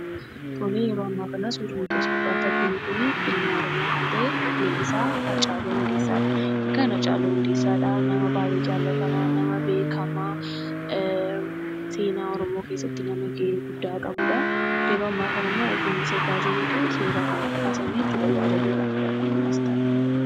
Tole yeroo ammaa kana suurri nuti as gubbaatti arginu kun, ilma Oromoo kan ta'e weellisaa Hacaaluu Hundeessaa dha. Egaan Hacaaluu Hundeessaa nama baay'ee jaallatamaa, nama beekamaa, seenaa Oromoo keessatti nama gahee guddaa qabuudha. Yeroo ammaa kana immoo utuu inni sirbaa jiruu suuraa kana kaasan jechuudha. Yaadannoodhaaf dha kan inni as kaa'e.